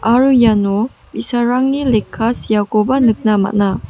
aro iano bi·sarangni lekka seakoba nikna man·a.